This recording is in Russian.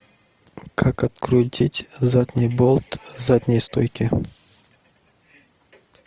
как открутить задний болт задней стойки